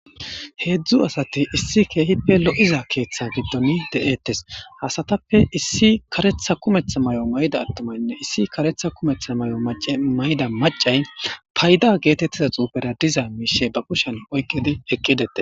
heedzdzu asati issi keehippe lo7iza keeththa giddon de7ettes hasatappe issi karetha kumetha may7o mayda attomaynne issi karetha kumetha may7o mayda macay payda geetettiza xuufera diza miishe ba kushen oykkidi eqqidete